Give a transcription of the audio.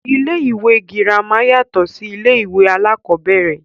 Ilé ìwé girama yàtọ̀ sí ilé ìwé alákọ̀ọ́bẹ̀rẹ̀.